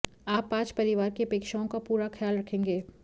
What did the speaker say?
आप आज परिवार की अपेक्षाओं का पूरा खयाल रखेंगे